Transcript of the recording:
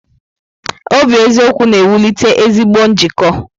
Obi eziokwu na-ewulite ezigbo njikọ.